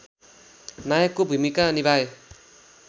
नायकको भूमिका निभाए